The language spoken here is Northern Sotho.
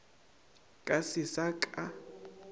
ka ge se sa ka